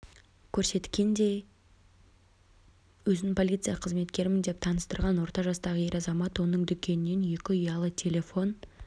көрсеткендей өзін полиция қызметкерімін деп таныстырған орта жастағы ер азамат оның дүкенінен екі ұялы телефон